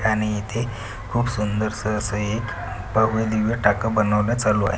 आणि इथे खूप सुंदरस् अस एक भव्यदिव्य टाक बनवण चालु आहे.